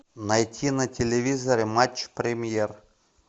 найти на телевизоре матч премьер